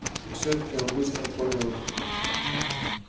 и все таки он быстро понял